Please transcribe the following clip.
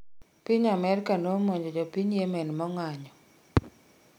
piny AmerkA nomonjo jopiny Yemen maong'anyo